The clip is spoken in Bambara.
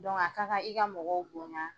a ka kan i ka mɔgɔw bonya,